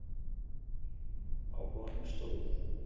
Á honum stóð: